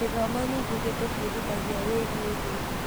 Gĩthomo ningĩ gĩtũbundithagia wĩgiĩ thĩ.